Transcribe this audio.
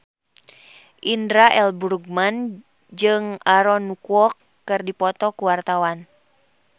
Indra L. Bruggman jeung Aaron Kwok keur dipoto ku wartawan